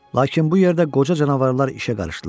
Lakin bu yerdə qoca canavarlar işə qarışdılar.